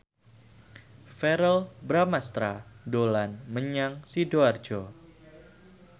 Verrell Bramastra dolan menyang Sidoarjo